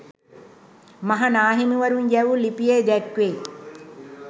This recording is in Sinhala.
මහනාහිමිවරුවන් යැවු ලිපියේ දැක්වේ